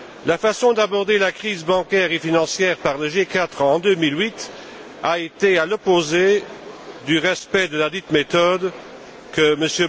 La façon d'aborder la crise bancaire et financière par le G4 en 2008 a été à l'opposé du respect de ladite méthode, que M.